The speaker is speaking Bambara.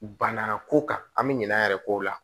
Banna ko kan bɛ ɲina an yɛrɛ k'o la